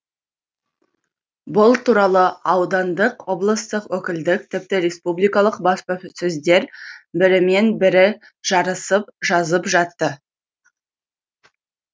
бұл туралы аудандық облыстық өкілдік тіпті республикалық баспасөздер бірімен бірі жарысып жазып жатты